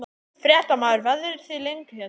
Fréttamaður: Verðið þið lengi hérna?